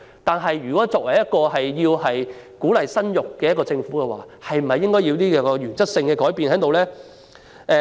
但是，作為鼓勵市民生育的政府，應否作出原則性的改變呢？